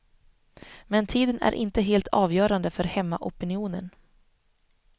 Men tiden är inte helt avgörande för hemmaopinionen.